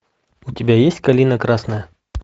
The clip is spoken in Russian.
у тебя есть калина красная